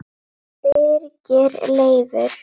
Birgir Leifur